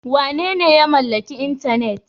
Wanene ya mallaki intanet?